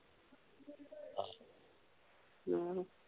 ਆਹੋ